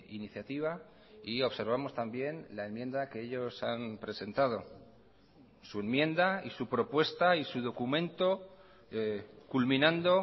iniciativa y observamos también la enmienda que ellos han presentado su enmienda y su propuesta y su documento culminando